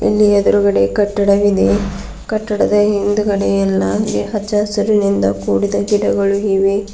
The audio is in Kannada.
ಇಲ್ಲಿ ಎದ್ರುಗಡೆ ಕಟ್ಟಡವಿದೆ ಕಟ್ಟಡದ ಹಿಂದ್ಗಡೆ ಎಲ್ಲ ಹಚ್ಚಹಸುರಿನಿಂದ ಕೂಡಿದ ಗಿಡಗಳು ಇವೆ.